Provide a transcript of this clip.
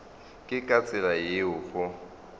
ke ka tsela yeo go